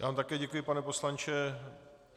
Já vám také děkuji, pane poslanče.